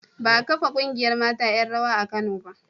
Ba a kafa ƙungiyar mata 'yan rawa a Kano ba.